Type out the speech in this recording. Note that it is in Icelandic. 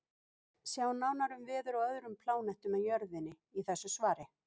Sjá nánar um veður á öðrum plánetum en Jörðinni í þessu svari.